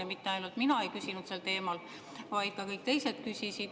Ja mitte ainult mina ei küsinud sel teemal, vaid ka kõik teised küsisid.